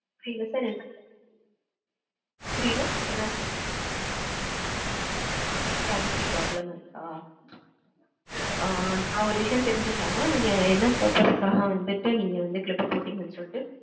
புரியல sir என்~ புரியல என்னாச்சு? Cavity problem இருக்கா? ஆ, நான் ஒரு விஷயம் தெரிஞ்சுக்கலாமா? நீங்க என்ன purpose க்காக வந்துட்டு, நீங்க வந்து clip போட்டடிங்கன்னு சொல்லிட்டு.